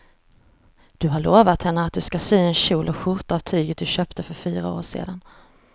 Du har lovat henne att du ska sy en kjol och skjorta av tyget du köpte för fyra år sedan.